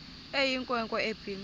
eyinkwe nkwe ebhinqe